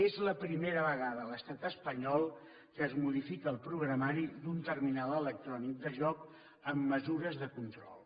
és la primera vegada a l’estat espanyol que es modifica el programari d’un terminal electrònic de joc amb mesures de control